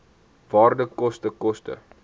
waarde koste koste